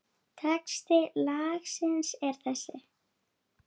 Texti lagsins er þessi